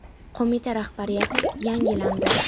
Qo‘mita rahbariyati yangilandi.